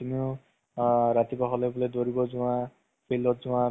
তাতে গৈ কেনে লগত কেইটাৰ লগত অলপ enjoy কৰিব পাৰি, ভাল দৰে চাব পাৰি।